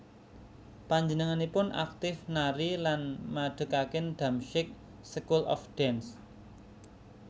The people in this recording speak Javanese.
Panjenenganipun aktif nari lan madhegaken Damsyik School of Dance